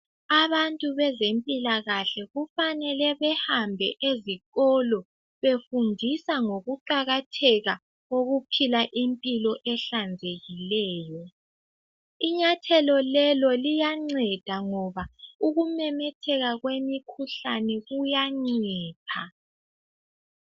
Abantu bezempilakahle kufanele behambe ezikolo, befundisa ngokuqakatheka kokuphila impilo ehlanzekileyo. Inyathelo lelo liyanceda ngoba ukumemetheka kwemikhuhlane kuyancipha.